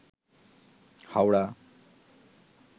Howrah